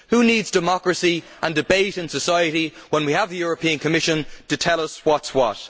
Who needs democracy and debate in society when we have the European Commission to tell us what is what.